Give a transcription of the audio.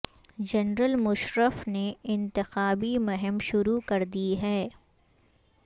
general Musharraf نے انتخابی مہم شروع کر دی ہے